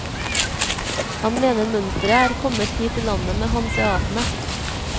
Han mener mønsteret er kommet hit til landet med hanseatene.